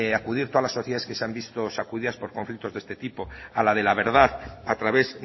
acudir todas las sociedades que se han visto sacudidas por conflictos de este tipo a la de la verdad a través